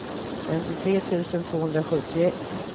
femtiotre tusen tvåhundrasjuttioett